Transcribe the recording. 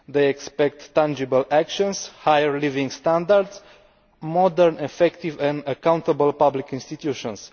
They expect tangible actions, higher living standards, and modern, effective and accountable public institutions.